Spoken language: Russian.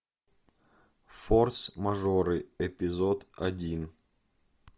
форс мажоры эпизод один